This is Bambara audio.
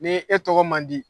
Ni e tɔgɔ man di